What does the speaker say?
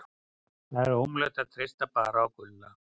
Það er ómögulegt að treysta bara á Gulla.